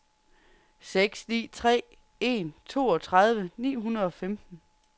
seks ni tre en toogtredive ni hundrede og femten